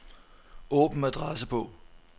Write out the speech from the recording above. Åbn adressebog.